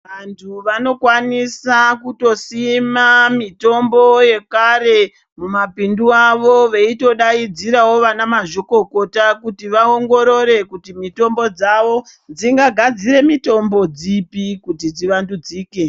Vantu vanokwanisa kutosima mitombo yekare mumapindu avo veyitodayidzirawo vanamazvikokota kuti va ongorore kuti mitombo dzavo dzingagadzire mitombo dzipi kuti dzivandudzike.